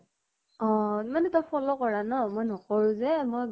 অহ মানে তাইক follow কৰা ন, মই নকৰো যে মই গম